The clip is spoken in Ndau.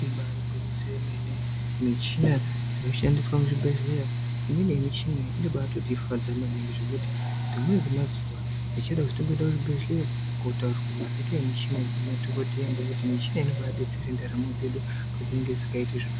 Ibaari gwinyiso yemene, michina dzinoshandiswa muzvibhedhleya imweni yemichina iyi inobatotifadza maningi zvekuti rimweni remazuwa ndichada kuzomboende kuchibhedhleya kotaurirwe mazita nemishina iyi ngemadhokodheya, ngekuti michina iyi, inombaadetsere ndaramo dzedu padzinenge dzisingaiti zvakanaka.